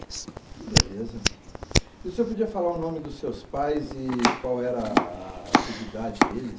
Beleza. O senhor podia falar o nome dos seus pais e qual era a atividade deles?